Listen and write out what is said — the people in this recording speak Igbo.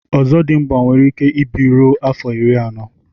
ọzọdịmgba nwere ike ịbi ruo afọ iri anọ